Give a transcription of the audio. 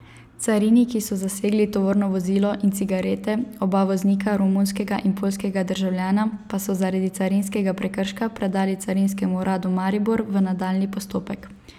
Cariniki so zasegli tovorno vozilo in cigarete, oba voznika, romunskega in poljskega državljana, pa so zaradi carinskega prekrška predali Carinskemu uradu Maribor v nadaljnji postopek.